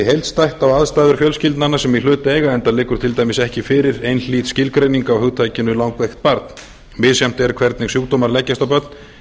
heildstætt á aðstæður fjölskyldnanna sem í hlut eiga enda liggur til dæmis ekki fyrir einhlít skilgreining á hugtakinu langveikt barn misjafnt er hvernig sjúkdómar leggjast á börn